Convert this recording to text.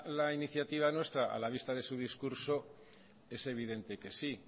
la iniciativa nuestra a la vista de su discurso es evidente que sí